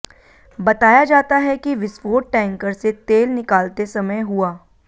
बताया जाता है कि विस्फोट टैंकर से तेल निकालते समय हुआ